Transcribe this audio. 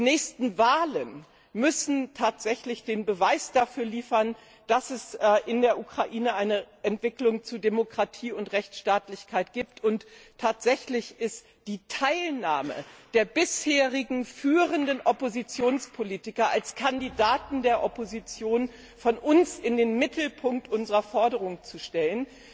Die nächsten Wahlen müssen tatsächlich den Beweis dafür liefern, dass es in der Ukraine eine Entwicklung zu Demokratie und Rechtstaatlichkeit gibt, und tatsächlich ist die Teilnahme der bisherigen führenden Oppositionspolitiker als Kandidaten der Opposition von uns in den Mittelpunkt unserer Forderungen zu stellen.